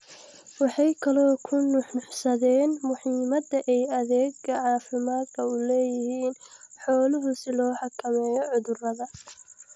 Waxay kaloo ku nuuxnuuxsadeen muhiimadda ay adeegga caafimaadku u leeyihiin xooluhu si loo xakameeyo cudurrada.